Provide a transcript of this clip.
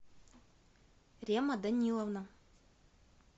рема даниловна